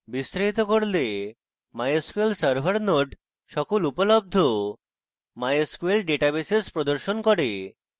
বিস্তারিত করলে mysql server node সকল উপলব্ধ mysql databases প্রদর্শন করে